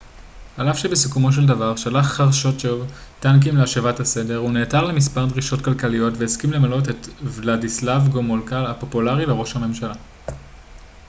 על אף שבסיכומו של דבר שלח חרושצ'וב טנקים להשבת הסדר הוא נעתר למספר דרישות כלכליות והסכים למנות את ולדיסלב גומולקה הפופולרי לראש ממשלה